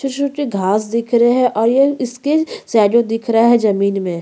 छोटे-छोटे घास दिख रहे है और ये इसके सैडो दिख रहे है जमीन में--